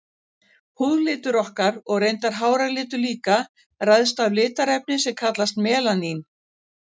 Húðlitur okkar, og reyndar háralitur líka, ræðst af litarefni sem kallast melanín.